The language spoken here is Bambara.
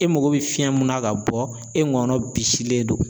E mago bɛ fiɲɛ mun na ka bɔ e ŋɔnɔ bisilen don